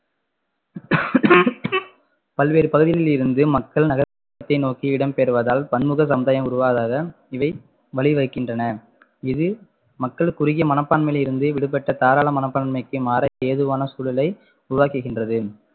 பல்வேறு பகுதிகளில் இருந்து மக்கள் நகரத்தை நோக்கி இடம்பெயர்வதால் பன்முக உருவாகாத இவை வழிவகைக்கின்றன இது மக்களை குறுகிய மனப்பான்மையில் இருந்து விடுபட்ட தாராள மனப்பான்மைக்கு மாற ஏதுவான சூழலை உருவாக்குகின்றது